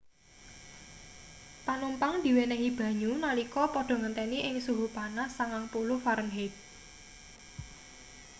panumpang diwenehi banyu nalika padha ngenteni ing suhu panas 90f